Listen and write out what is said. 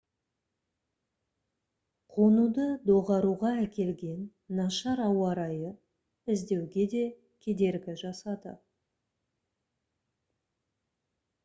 қонуды доғаруға әкелген нашар ауа райы іздеуге де кедергі жасады